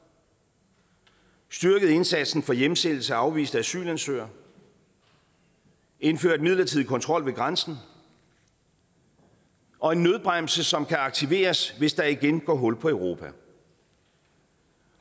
styrket indsatsen for hjemsendelse af afviste asylansøgere indført midlertidig kontrol ved grænsen og en nødbremse som kan aktiveres hvis der igen går hul på europa